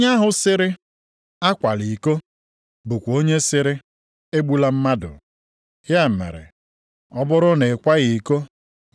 Nʼihi na onye ọbụla nke na-edebe iwu ahụ niile ma sụọ ngọngọ nʼotu, a bụrụla onye ikpe iwu ahụ niile maara.